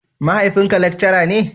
Mahaifin ka lekcara ne?